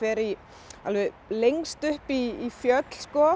alveg lengst upp í fjöll